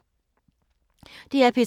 DR P3